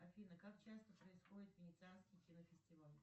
афина как часто происходит венецианский кинофестиваль